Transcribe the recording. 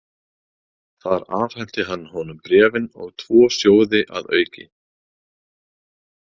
Þar afhenti hann honum bréfin og tvo sjóði að auki.